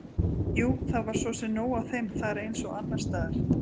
Jú, það var svo sem nóg af þeim þar eins og annars staðar.